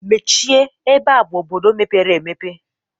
Mechie ebe a bụ obodo mepere emepe